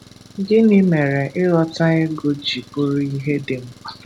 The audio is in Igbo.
Gịnị mere ịghọta ịgụ ji bụrụ ihe dị mkpa?